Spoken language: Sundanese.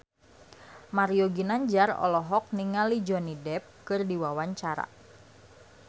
Mario Ginanjar olohok ningali Johnny Depp keur diwawancara